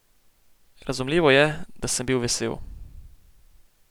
Razumljivo je, da sem bil vesel.